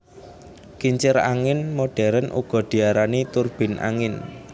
Kincir angin modern uga diarani turbin angin